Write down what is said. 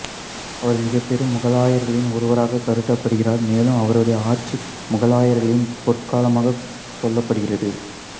அவர் மிகப்பெரும் முகலாயர்களில் ஒருவராகக் கருதப்படுகிறார் மேலும் அவருடைய ஆட்சி முகலாயர்களின் பொற்காலமாக சொல்லப்படுகிறது